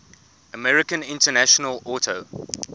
american international auto